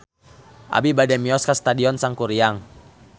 Abi bade mios ka Stadion Sangkuriang